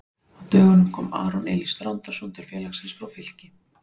Á dögunum kom Aron Elís Þrándarson til félagsins frá Víkingi.